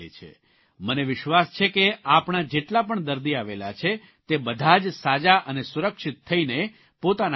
મને વિશ્વાસ છે કે આપણા જેટલા પણ દર્દી આવેલા છે તે બધા જ સાજા અને સુરક્ષિત થઇને પોતાના ઘરે જશે